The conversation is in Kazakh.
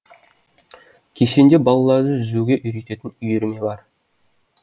кешенде балаларды жүзуге үйрететін үйірме бар